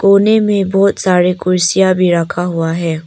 कोने में बहुत सारे कुर्सियां भी रखा हुआ है।